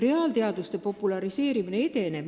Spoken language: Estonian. Reaalteaduste populariseerimine edenebki kenasti.